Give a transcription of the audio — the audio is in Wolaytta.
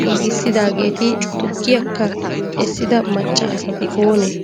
giigissidageeti tukkiyakka essida macca asati oonee?